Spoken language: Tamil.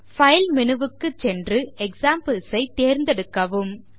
பைல் மேனு க்குச் சென்று எக்ஸாம்பிள்ஸ் ஐ தேர்ந்தெடுக்கவும்